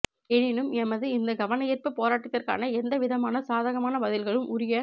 எனினும் எமது இந்த கவனயீர்ப்பு போராட்டத்திற்கான எந்தவிதமான சாதகமான பதில்களும் உரிய